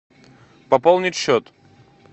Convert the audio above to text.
пополнить счет